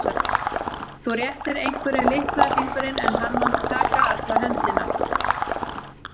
Þú réttir einhverjum litla fingurinn en hann mun taka alla höndina.